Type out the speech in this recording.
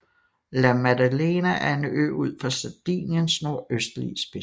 La Maddalena er en ø ud for Sardiniens nordøstlige spids